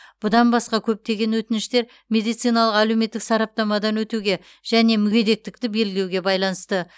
бұдан басқа көптеген өтініштер медициналық әлеуметтік сараптамадан өтуге және мүгедектікті белгілеуге байланысты